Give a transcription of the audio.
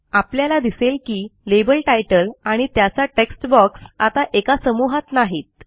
आपल्याला दिसेल की लाबेल तितले आणि त्याचा टेक्स्ट बॉक्स आता एका समूहात नाहीत